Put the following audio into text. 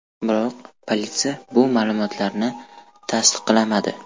Biroq politsiya bu ma’lumotlarni tasdiqlamadi.